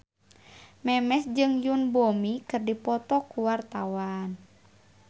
Memes jeung Yoon Bomi keur dipoto ku wartawan